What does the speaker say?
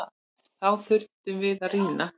Þá þurftum við að rýma.